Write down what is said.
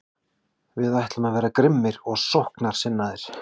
Við ætlum að vera grimmir og sóknarsinnaðir.